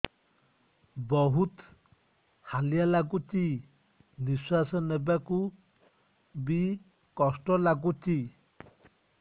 ବହୁତ୍ ହାଲିଆ ଲାଗୁଚି ନିଃଶ୍ବାସ ନେବାକୁ ଵି କଷ୍ଟ ଲାଗୁଚି